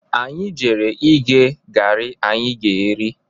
Anyị jere ighe garị anyị ga-eri.